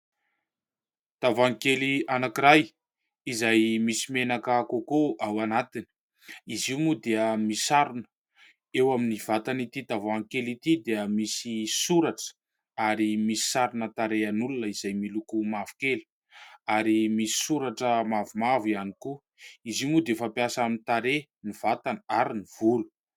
Tavoahangy anankiray izay misy menaka kôkô ao anatiny, izy io moa dia misarona eo amin'ny vatan'ity tavoahangy kely ity dia misy soratra ary misy sarina tarehin'olona izay miloko mavokely ary misy soratra mavomavo ihany koa, izy io moa dia fampiasa amin'ny tarehy, ny vatana ary ny volo.